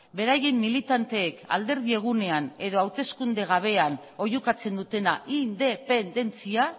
beraien militanteek alderdi egunean edo hauteskunde gabean oihukatzen dutena independentzia